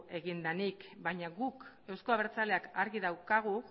egin denik baina guk euzko abertzaleak argi daukagu